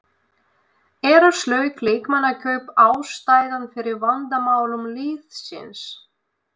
Eru slök leikmannakaup ástæðan fyrir vandamálum liðsins?